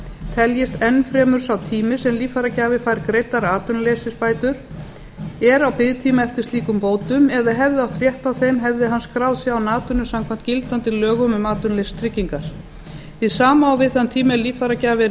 teljist enn fremur sá tími sem líffæragjafi fær greiddar atvinnuleysisbætur er á biðtíma eftir slíkum bótum eða hefði átt rétt á þeim hefði hann skráð sig án atvinnu samkvæmt gildandi lögum um atvinnuleysistryggingar hið sama á við þann tíma er líffæragjafi er í